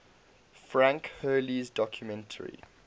frank hurley's documentary